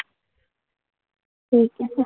ठीक आहे.